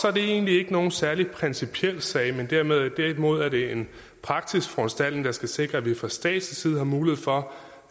er det egentlig ikke nogen særlig principiel sag derimod er det en praktisk foranstaltning der skal sikre at vi fra statslig side har mulighed for